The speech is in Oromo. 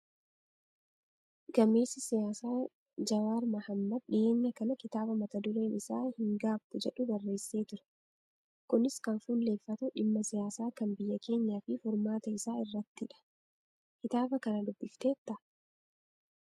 Gameessi siyaasaa Jawaar Mahaammad dhiyeenya kana kitaaba mata dureen isaa hin gaabbu jedhu barreessee ture. Kunis kan fuulleffatu dhimma siyaasaa kan biyya keenyaa fi furmaata isaa irrattidha. Kitaaba kana dubbifteettaa?